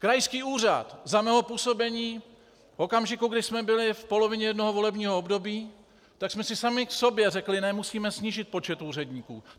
Krajský úřad za mého působení v okamžiku, kdy jsme byli v polovině jednoho volebního období, tak jsme si sami k sobě řekli: ne, musíme snížit počet úředníků!